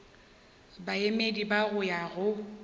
baemedi ba go ya go